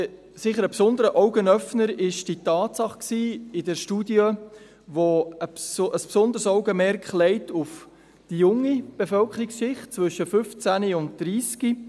Ein besonderer Augenöffner war für uns sicher die Tatsache in der Studie, die ein besonderes Augenmerk auf die junge Bevölkerungsschicht legt, zwischen 15 und 30 Jahren.